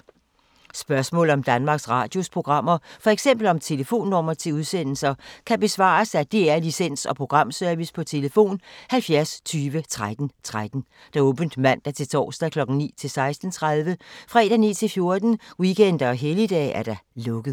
Spørgsmål om Danmarks Radios programmer, f.eks. om telefonnumre til udsendelser, kan besvares af DR Licens- og Programservice: tlf. 70 20 13 13, åbent mandag-torsdag 9.00-16.30, fredag 9.00-14.00, weekender og helligdage: lukket.